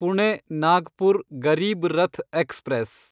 Pune Nagpur Garib Rath express